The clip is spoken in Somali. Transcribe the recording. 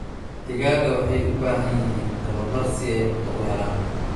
Digaagga waxay u baahan yihiin tababar si ay cunto u helaan.